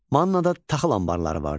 Mannada taxıl anbarları vardı.